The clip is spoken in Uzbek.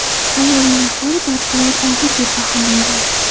Ayolning ahvoli barqaror og‘ir deb baholangan.